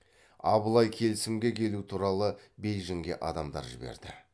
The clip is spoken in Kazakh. абылай келісімге келу туралы бейжінге адамдар жіберді